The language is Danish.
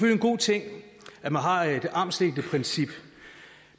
en god ting at man har et armslængdeprincip